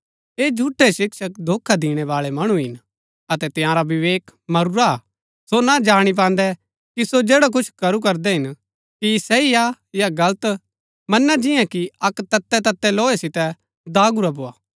ऐह झूठै शिक्षक धोखा दिणैबाळै मणु हिन अतै तंयारा विवेक मरूरा हा सो ना जाणी पान्दै कि सो जैड़ा करू करदै हिन कि सही हा या गलत मना जिन्या कि अक्क ततैततै लोहे सितै दागुरा भोआ